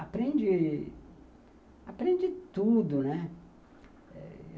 Aprende... Aprende tudo, né.